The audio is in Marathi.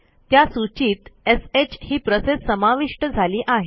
त्या सूचीत श ही प्रोसेस समाविष्ट झाली आहे